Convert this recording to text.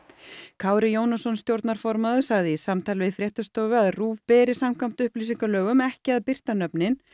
Kári Jónasson stjórnarformaður sagði í samtali við fréttastofu að RÚV beri samkvæmt upplýsingalögum ekki að birta nöfnin